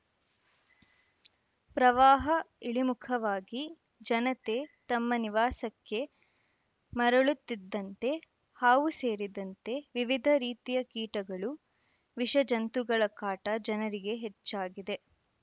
ಪ್ರವಾಹ ಇಳಿಮುಖವಾಗಿ ಜನತೆ ತಮ್ಮ ನಿವಾಸಕ್ಕೆ ಮರಳುತ್ತಿದ್ದಂತೆ ಹಾವು ಸೇರಿದಂತೆ ವಿವಿಧ ರೀತಿಯ ಕೀಟಗಳು ವಿಷಜಂತುಗಳ ಕಾಟ ಜನರಿಗೆ ಹೆಚ್ಚಾಗಿದೆ